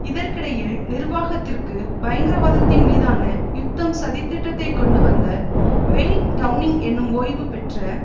இதற்கிடையில் நிர்வாகத்திற்கு பயங்கரவாதத்தின் மீதான யுத்தம் சதித்திட்டத்தைக் கொண்டு வந்த வெய்ன் டெளனிங் எனும் ஓய்வுபெற்ற